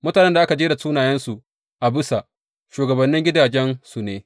Mutanen da aka jera sunayensu a bisa, shugabannin gidajensu ne.